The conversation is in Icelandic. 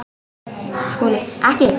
SKÚLI: Ekki?